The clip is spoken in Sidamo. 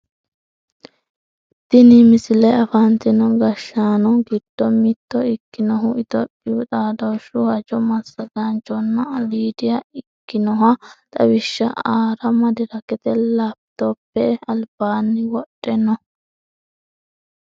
tini misile afantino gashshanpo giddo mitto ikkinohu itiyophiyu xaadooshshu hajo massagaanchona aliidiha ikkinohu xawishsha aara madirakete laapitoppe albaanni wodhe no